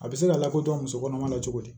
A bɛ se ka lakodɔn musokɔnɔma na cogo di